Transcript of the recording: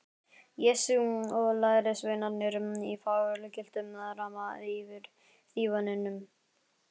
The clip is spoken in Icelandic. Jesú og lærisveinarnir í fagurgylltum ramma yfir dívaninum.